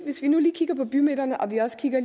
hvis vi nu lige kigger på bymidterne og vi også kigger